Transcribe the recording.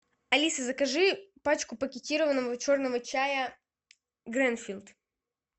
алиса закажи пачку пакетированного черного чая гринфилд